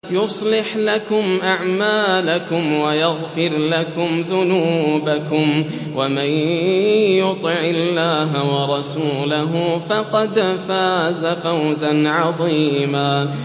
يُصْلِحْ لَكُمْ أَعْمَالَكُمْ وَيَغْفِرْ لَكُمْ ذُنُوبَكُمْ ۗ وَمَن يُطِعِ اللَّهَ وَرَسُولَهُ فَقَدْ فَازَ فَوْزًا عَظِيمًا